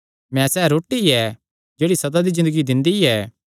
मैं सैह़ रोटी ऐ जेह्ड़ी सदा दी ज़िन्दगी दिंदी ऐ